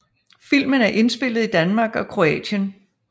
Filmen er indspillet i Danmark og Kroatien